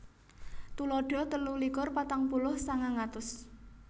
Tuladha telu likur patang puluh sangang atus